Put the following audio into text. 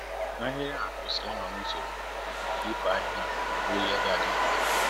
ahịrị à kwesịrị ị nọ n'usoro ,ka ifo ahịhịa bụrụ ìhè ga dị mfe